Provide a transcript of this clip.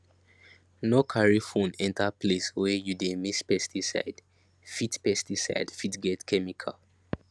no carry phone enter place wey you dey mix pesticidee fit pesticidee fit get chemical